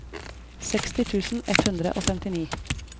seksti tusen ett hundre og femtini